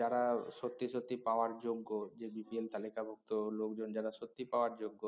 যারা সত্যি সত্যি পাওয়ার যোগ্য যে BPL তালিকাভুক্ত লোকজন যারা সত্যি পাওয়ার যোগ্য